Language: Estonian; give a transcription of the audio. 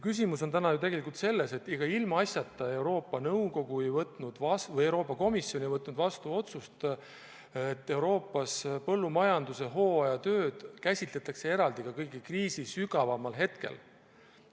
Ega ilmaasjata Euroopa Komisjon ei võtnud vastu otsust, et Euroopas põllumajanduse hooajatöid käsitletakse eraldi ka kriisi kõige sügavamal hetkel.